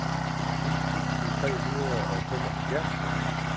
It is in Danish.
ni tusind tre hundrede og femoghalvfjerds